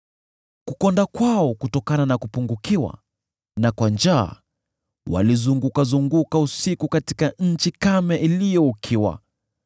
Wakiwa wamekonda kutokana na kupungukiwa na kwa njaa, walizurura usiku katika nchi kame iliyo ukiwa.